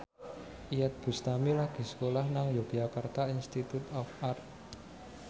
Iyeth Bustami lagi sekolah nang Yogyakarta Institute of Art